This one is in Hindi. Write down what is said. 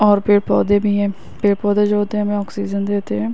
और पेड़-पौधे भी है पेड़-पौधे जो होते हैं हमें ऑक्सीजन देते हैं।